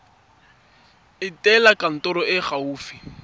etela kantoro e e gaufi